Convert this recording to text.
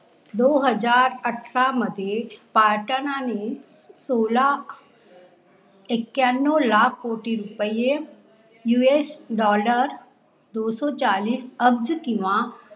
दो हजार अत्र मध्ये पाटा नाणी सोला एख्यानो लाख कोटी रुपैये यू, ऐश डॉलर दो सो चाललीस अगद किंवा